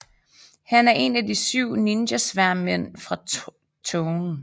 Han er en af De syv ninjasværdmænd fra tågen